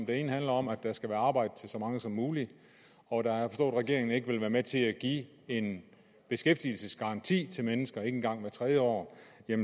det ene handler om at der skal være arbejde til så mange som muligt og da regeringen ikke vil være med til at give en beskæftigelsesgaranti til mennesker ikke engang hvert tredje år